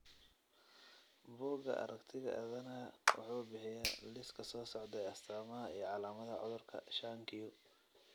Bugga Aaragtiga Aadanaha wuxuu bixiyaa liiska soo socda ee astamaha iyo calaamadaha cudurka shan q .